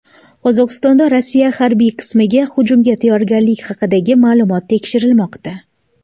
Qozog‘istonda Rossiya harbiy qismiga hujumga tayyorgarlik haqidagi ma’lumot tekshirilmoqda.